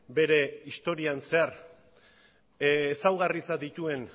bere historian zehar ezaugarritzat dituen